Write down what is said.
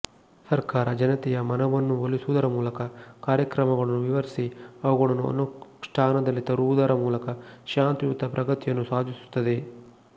ಸರ್ಕಾರ ಜನತೆಯ ಮನವನ್ನು ಒಲಿಸುವುದರ ಮೂಲಕ ಕಾರ್ಯಕ್ರಮಗಳನ್ನು ವಿವರಿಸಿ ಅವುಗಳನ್ನು ಅನುಷ್ಠಾನದಲ್ಲಿ ತರುವುದರ ಮೂಲಕ ಶಾಂತಿಯುತ ಪ್ರಗತಿಯನ್ನು ಸಾಧಿಸುತ್ತದೆ